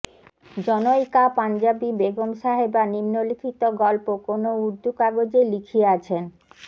জনৈকা পাঞ্জাবী বেগম সাহেবা নিন্মলিখিত গল্প কোন উর্দ্দু কাগজে লিখিয়াছেনঃ